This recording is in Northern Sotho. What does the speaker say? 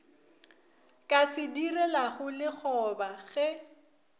ka se direlago lekgoba ge